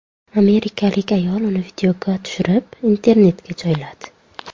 Amerikalik ayol uni videoga tushirib internetga joyladi.